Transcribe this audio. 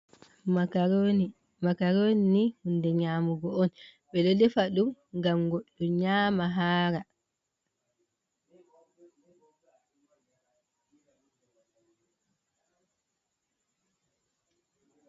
Makaroni hunɗe nyamugo on, ɓedo defa dum gam goɗɗo nyama hara.